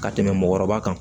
Ka tɛmɛ mɔgɔkɔrɔba kan